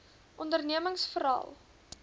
ondernemingsveral